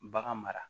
Bagan mara